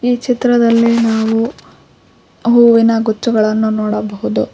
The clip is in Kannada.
ಈ ಚಿತ್ರದಲ್ಲಿ ನಾವು ಹೂವಿನ ಗುಚ್ಚಗಳನ್ನು ನೋಡಬಹುದು.